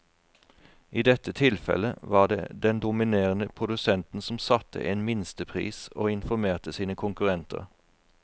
I dette tilfellet var det den dominerende produsenten som satte en minstepris og informerte sine konkurrenter.